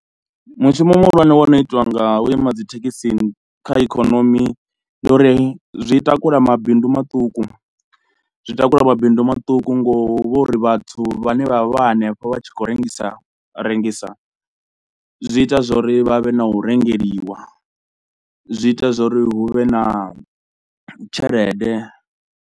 Mushumo muhulwane wo no itiwa nga vhuima dzi thekhisi kha ikhonomi ndi uri zwi takula mabindu maṱuku, zwi takula mabindu maṱuku ngo uri vhathu vhane vha vha hanefho vha tshi khou rengisa rengisa, zwi ita zwa uri vha vhe na u rengeliwa, zwi ita zwo ri hu vhe na tshelede.